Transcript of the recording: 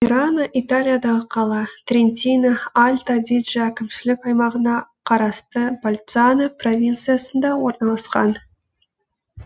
мерано италиядағы қала трентино альто адидже әкімшілік аймағына қарасты больцано провинциясында орналасқан